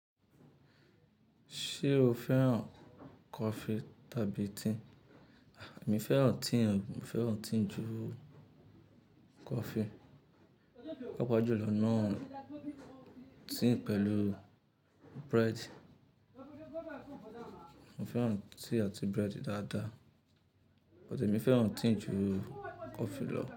Ṣé o fẹ́ràn coffee tàbí tea? Èmi fẹ́ràn tea, mo fẹ́ràn tea ju coffee. Pàápàá jùlọ náà tea pẹ̀lú bread. Mo fẹ́ràn tea àti bread dáadáa, but èmi fẹ́ràn tea ju coffee lọ.